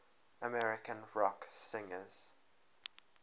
american rock singers